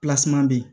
be yen